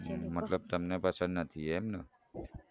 મતલબ તમને પસંદ નથી એમને